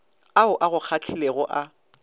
ao a go kgahlilego a